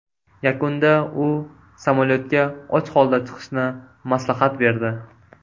Yakunda u samolyotga och holda chiqishni maslahat berdi.